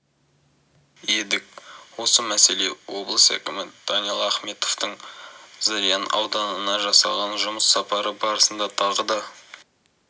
едік осы мәселе облыс әкімі даниал ахметовтің зырян ауданына жасаған жұмыс сапары барысында тағы да